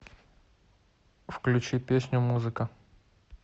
включи песню музыка